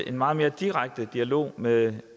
en meget mere direkte dialog med